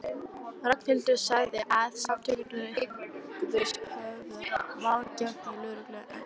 Ragnhildur sagði að Samtökin hygðust höfða mál gegn lögreglunni en